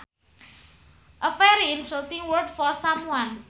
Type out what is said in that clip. A very insulting word for someone